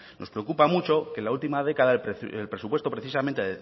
nos preocupa mucho que en la última década el presupuesto precisamente